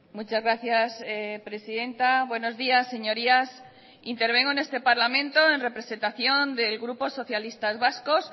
muchas gracias presidenta buenos días señorías intervengo en este parlamento en representación del grupo socialistas vascos